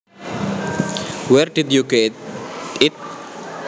Where did you get it